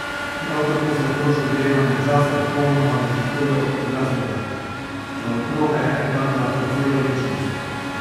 Prav tako se otroško dojemanje časa popolnoma razlikuje od odraslega: "Za otroka je en dan lahko cela večnost.